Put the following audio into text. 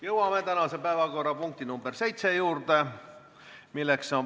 Jõuame tänase päevakorrapunkti nr 7 juurde.